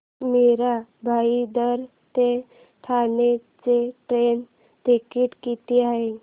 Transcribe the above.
मीरा भाईंदर ते ठाणे चे train ticket किती आहे